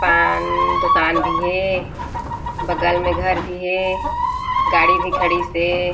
पान दुकान भी हे बगल में घर भी हे गाड़ी भी खडिस हे।